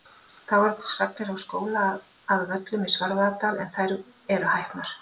Þá eru til sagnir af skóla að Völlum í Svarfaðardal en þær eru hæpnar.